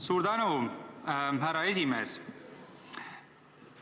Suur tänu, härra esimees!